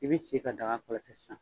I bi sigi ka daga kɔlɔsi sisan